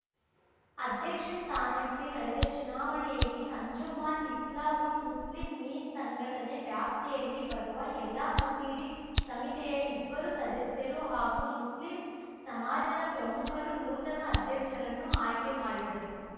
ಅಧ್ಯಕ್ಷ ಸ್ಥಾನಕ್ಕೆ ನಡೆದ ಚುನಾವಣೆಯಲ್ಲಿ ಅಂಜುಮಾನ್‌ ಇಸ್ಲಾಹುಲ್‌ ಮುಸ್ಲಿಂಮೀನ್‌ ಸಂಘಟನೆ ವ್ಯಾಪ್ತಿಯಲ್ಲಿ ಬರುವ ಎಲ್ಲ ಮಸೀದಿ ಸಮಿತಿಯ ಇಬ್ಬರು ಸದಸ್ಯರು ಹಾಗೂ ಮುಸ್ಲಿಂ ಸಮಾಜದ ಪ್ರಮುಖರು ನೂತನ ಅಧ್ಯಕ್ಷರನ್ನು ಆಯ್ಕೆ ಮಾಡಿದರು